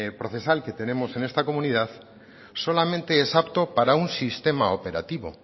procesal que tenemos en esta comunidad solamente es apto para un sistema operativo